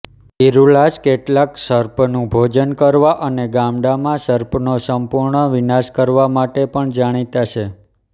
ઇરુલાસ કેટલાંક સર્પનું ભોજન કરવા અને ગામડામાં સર્પનો સંપૂર્ણ વિનાશ કરવા માટે પણ જાણીતા છે